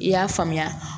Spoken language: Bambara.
I y'a faamuya